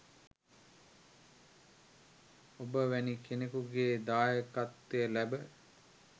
ඔබ වැනි කෙනෙකුගේ දායකත්වය ලැබ